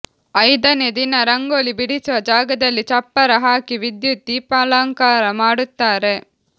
ಐದನೇ ದಿನ ರಂಗೋಲಿ ಬಿಡಿಸುವ ಜಾಗದಲ್ಲಿ ಚಪ್ಪರ ಹಾಕಿ ವಿದ್ಯುತ್ ದೀಪಾಲಂಕಾರ ಮಾಡುತ್ತಾರೆ